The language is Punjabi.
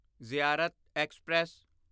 ਜ਼ਿਆਰਤ ਐਕਸਪ੍ਰੈਸ